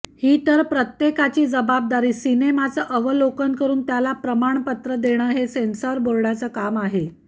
ही तर प्रत्येकाची जबाबदारी सिनेमाचं अवलोकन करून त्याला प्रमाणपत्र देणं हे सेन्सॉर बोर्डाचं काम आहे